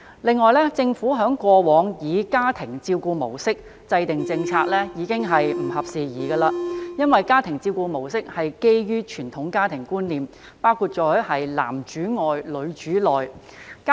此外，政府過往以家庭照顧模式制訂政策已不合時宜，因為家庭照顧模式建基於傳統家庭觀念，包括"男主外，女主內"的觀念。